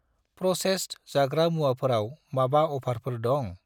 Processed जाग्रा मुवाफोराव माबा अफारफोर दं?